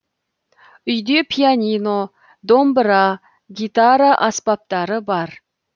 үйде пианино домбыра гитара аспаптары бар